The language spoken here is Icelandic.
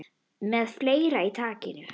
Með fleira í takinu